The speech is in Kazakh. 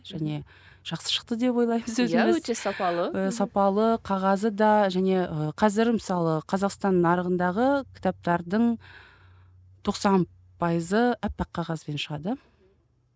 және жақсы шықты деп ойлаймыз өзіміз сапалы қағазы да және ы қазір мысалы қазақстан нарығындағы кітаптардың тоқсан пайызы аппақ қағазбен шығады